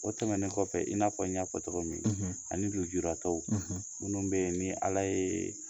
O tɛmɛnen kɔfɛ in n'a fɔ n y'a fɔ cogo min, , ani lujuratɔ, , minnu bɛ yen ni Ala ye